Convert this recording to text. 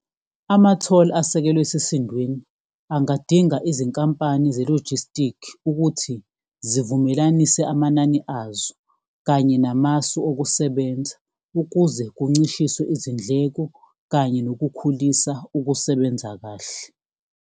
Ama-toll asekelwe esisindaweni angadinga izinkampani ze-logistic ukuthi zivumelanise amanani azo, kanye namasu okusebenza ukuze kuncishiswe izindleko kanye nokukhulisa ukusebenza kahle.